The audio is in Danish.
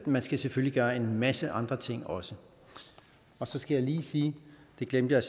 man skal selvfølgelig gøre en masse andre ting også og så skal jeg lige sige det glemte jeg